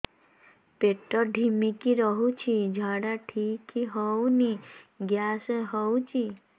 ପେଟ ଢିମିକି ରହୁଛି ଝାଡା ଠିକ୍ ହଉନି ଗ୍ୟାସ ହଉଚି